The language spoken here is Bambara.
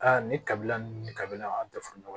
Aa ni kabila ni kabila an tɛ fɔ ɲɔgɔn ye